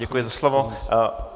Děkuji za slovo.